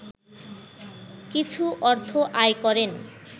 কিছু অর্থ আয় করেন